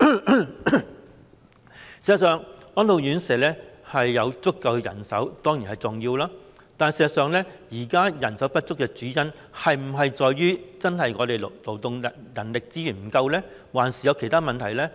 事實上，安老院舍有足夠人手當然是重要的事，但現時人手不足的主因，是否在於本地的勞動人力資源不足呢？還是有其他問題呢？